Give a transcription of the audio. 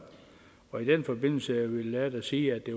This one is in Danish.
og i den forbindelse vil jeg da sige at det